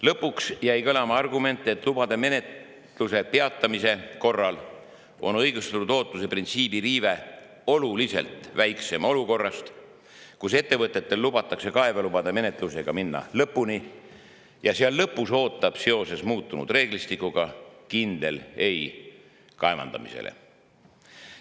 Lõpuks jäi kõlama argument, et lubade menetluse peatamise korral on õigustatud ootuse printsiibi riive oluliselt väiksem kui olukorras, kus ettevõtetel lubatakse kaevelubade menetlusega minna lõpuni ja kus neid ootab lõpus ees kindel seoses muutunud reeglistikuga: ei kaevandamisele.